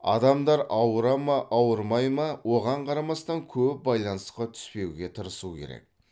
адамдар ауыра ма ауырмай ма оған қарамастан көп байланысқа түспеуге тырысу керек